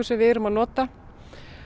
sem við erum að nota